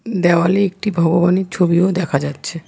দেওয়ালে একটি ভগবানের ছবিও দেখা যাচ্ছে।